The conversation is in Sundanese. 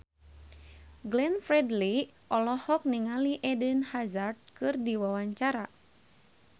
Glenn Fredly olohok ningali Eden Hazard keur diwawancara